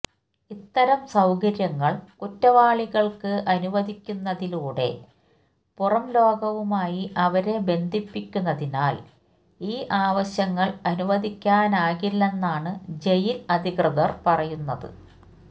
ഇത്തരം സൌകര്യങ്ങള് കുറ്റവാളികള്ക്ക് അനുവദിക്കുന്നതിലൂടെ പുറംലോകവുമായി അവരെ ബന്ധിപ്പിക്കുന്നതിനാല് ഈ ആവശ്യങ്ങള് അനുവദിക്കാനാകില്ലെന്നാണ് ജയില് അധികൃതര് പറയുന്നത്